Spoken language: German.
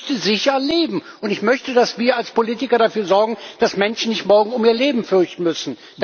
ist. Ich möchte sicher leben und ich möchte, dass wir als Politiker dafür sorgen, dass Menschen nicht morgen um ihr Leben fürchten müssen.